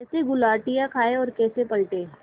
कैसे गुलाटियाँ खाएँ और कैसे पलटें